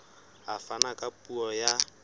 a fana ka puo ya